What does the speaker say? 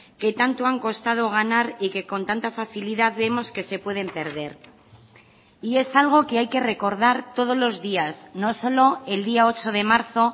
que tanto han costado ganar y que con tanta facilidad vemos que se pueden perder y es algo que hay que recordar todos los días no solo el día ocho de marzo